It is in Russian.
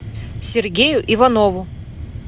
сергею иванову